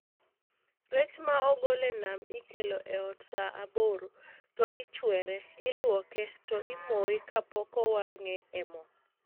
Rech ma ogol e nam ikelo e ot saa aboro , to ichwere , iluoke, to imoye kapok owang'e e moo